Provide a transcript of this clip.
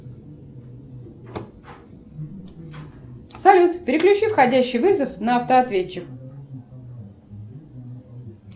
салют переключи входящий вызов на автоответчик